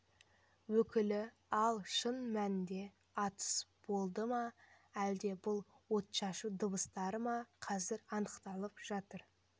өкілі ал шын мәнінде атыс болды ма әлде бұл отшашу дауыстары ма қазір анықталып жатыр